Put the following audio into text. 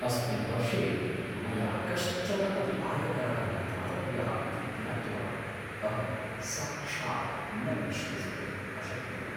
अस्मिन् वर्षे मया कश्चन अपि आयकरः न दातव्यः इति ज्ञात्वा अहं साक्षात् न विश्वसितुम् अशक्नुवम्!